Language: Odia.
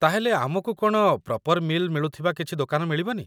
ତା'ହେଲେ, ଆମକୁ କ'ଣ ପ୍ରପର୍ ମି'ଲ୍ ମିଳୁଥିବା କିଛି ଦୋକାନ ମିଳିବନି?